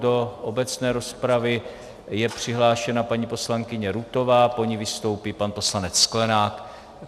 Do obecné rozpravy je přihlášena paní poslankyně Rutová, po ní vystoupí pan poslanec Sklenák.